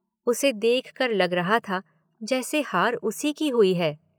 उसे देख कर लग रहा था, जैसे हार उसी की हुई है।